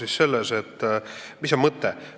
Mis on selle mõte?